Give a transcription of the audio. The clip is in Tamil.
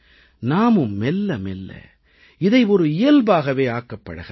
நாமும் மெல்ல மெல்ல இதை ஒரு இயல்பாகவே ஆக்கப் பழகலாம்